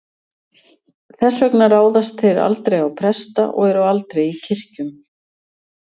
Þess vegna ráðast þeir aldrei á presta og eru aldrei í kirkjum.